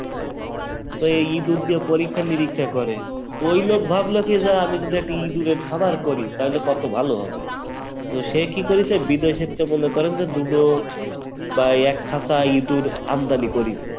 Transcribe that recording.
তো ইঁদুর দিয়ে পরীক্ষা নিরীক্ষা করে, তো ওই লোক ভাবলো যে আমি যদি একটা ইঁদুরের খামার করি তাহলে কত ভালো হবে, তো সে কী করেছে বিদেশের থেকে মনে করেন যে দুটো বা এক খাঁচা ইঁদুর আমদানি করেছে